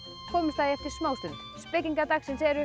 komumst að því eftir smá stund spekingar dagsins eru